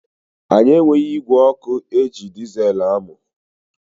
Anyị enweghị ígwè ọkụ eji dizeelu amụ.